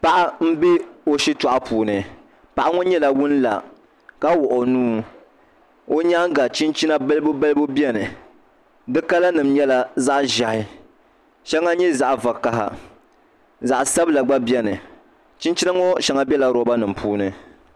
Paɣa n bɛ o shitoɣu puuni paɣa ŋo nyɛla ŋun la ka wuɣi o nuu o nyaanga chinchina balibu balibu biɛni di kala nim nyɛla zaɣ ʒiɛhi shɛŋa nyɛ zaɣ vakaɣa zaɣ sabila gba biɛni chinchina ŋo shɛŋa biɛla roba nim puuni